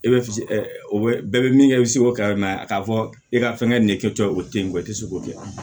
E bɛ se bɛɛ bɛ min kɛ i bɛ se k'o kɛ k'a fɔ e ka fɛngɛ nin kɛcogoya o tɛ yen ko i tɛ se k'o kɛ a